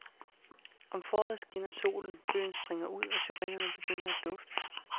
Om foråret skinner solen, bøgen springer ud og syrenerne begynder at dufte.